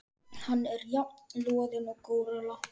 Hann er jafn loðinn og górilla.